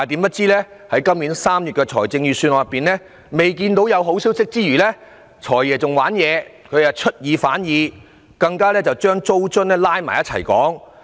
可是，今年3月公布的預算案，我們不但看不到有好消息，"財爺"更出爾反爾，把租金津貼扯在一起討論。